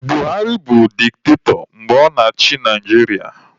Buhari bụ diktatọ mgbe ọ na-achị Naijiria